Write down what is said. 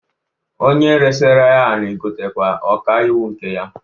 Onye resara ya anị gotakwara ọka iwu nke ya.